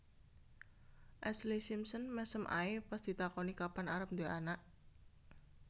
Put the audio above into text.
Ashlee Simpson mesem ae pas ditakoni kapan arep duwe anak